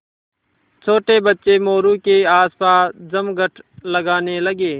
छोटे बच्चे मोरू के आसपास जमघट लगाने लगे